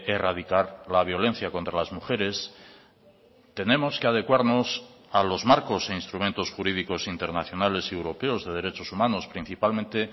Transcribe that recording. erradicar la violencia contra las mujeres tenemos que adecuarnos a los marcos e instrumentos jurídicos internacionales y europeos de derechos humanos principalmente